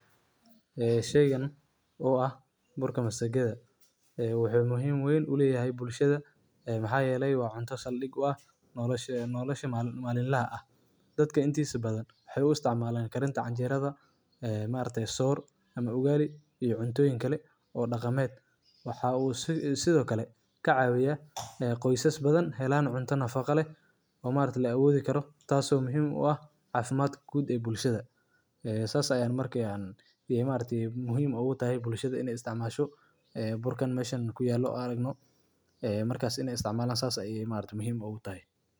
Ee sheygan oo ah burka masagadha ee waxey muhim weyn u leyahay bulshadha ee maxa yelay cunta saldig u ah nolasha malin laha ah. Dadka intisa badhan waxay u isticmalan karinta canjeradha ee maaragti soor ama ugali iyo cuntoyin kale oo dhaqameed. Waxu sidhokale Kacawiya qoysas badhan helan cunta nafaqo leh oo maaragti laawodhi karo taaso muhim u ah caafimaadka guud ee bulshadha. ee sas markiyan muhim ugutahay bulshadha inay isticmasho ee burkan meshan kuyelo an aragno ee markas inay isticmalaan sas ayay muhim ugutahay.